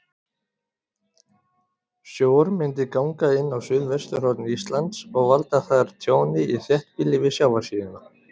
Sjór myndi ganga inn á suðvesturhorn Íslands og valda þar tjóni í þéttbýli við sjávarsíðuna.